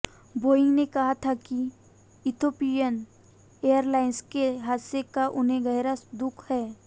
Boeing ने कहा था कि इथियोपियन एयरलाइंस के हादसे का उन्हें गहरा दुख है